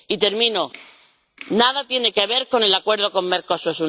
Y, termino, nada tiene que ver con el acuerdo con el Mercosur.